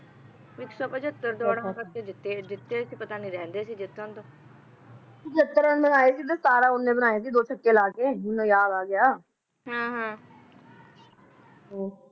ਵੀ ਇੱਕ ਸੌ ਪਿਛਤਰ ਦੌੜਾਂ ਕਰਕੇ ਜਿੱਤੇ ਸੀ ਜਿੱਤੇ ਸੀ ਪਤਾ ਨਹੀਂ ਰਹੀ ਗਏ ਸੀ ਜਿੱਤਣ ਤੋਂ ਤਾ ਨਹੀਂ ਰਹਿੰਦੇ ਸੀ ਜਿੱਤਣ ਤੋਂ ਪਿਛਛਤ ਰਨ ਬਣਾਏ ਸੀ ਤੇ ਸਤਾਰਾਂ ਓਹਨੇ ਬਣਾਏ ਸੀ ਦੋ ਛਕੇ ਲਾ ਕੇ ਮੈਨੂੰ ਯਾਦ ਆ ਗਿਆ ਹਮ ਹਮ